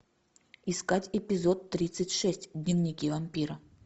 искать эпизод тридцать шесть дневники вампира